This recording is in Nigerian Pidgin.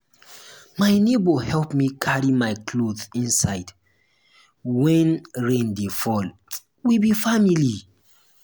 my nebor help me carry my cloth inside wen rain dey fall we be family.